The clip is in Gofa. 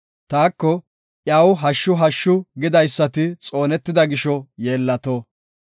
Taako iyaw “hashshu! hashshu!” gidaysati xoonetida gisho yeellato.